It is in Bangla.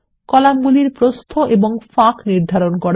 কলামগুলির প্রস্থ এবং ফাঁক নির্ধারণ করা